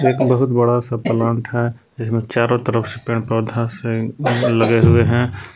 एक बहुत बड़ा सा प्लांट है जिसमें चारों तरफ से पेड़ पौधा से लगे हुए हैं।